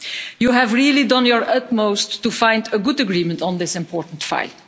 You have really done your utmost to find a good agreement on this important file.